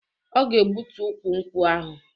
Ọ ga-egbutu ukwu nkwụ ahụ